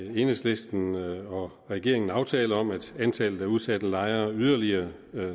enhedslisten og regeringen aftale om at antallet af udsatte lejere yderligere